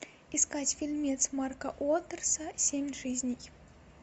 искать фильмец марка уоттерса семь жизней